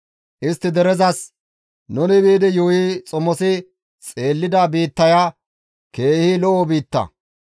Istti derezas, «Nuni biidi yuuyi xomosi xeellida biittaya keeha lo7o biitta.